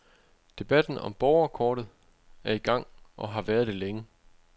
Debatten om borgerkortet er i gang, og har været det længe.